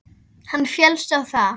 Hann féllst á það.